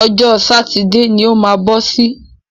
Ọjọ́ sátidé ni o má bọ́ sí.